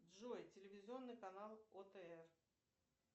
джой телевизионный канал отр